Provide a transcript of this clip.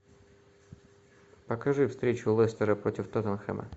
покажи встречу лестера против тоттенхэма